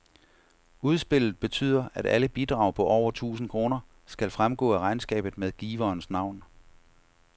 Udspillet betyder, at alle bidrag på over tusind kroner skal fremgå af regnskabet med giverens navn.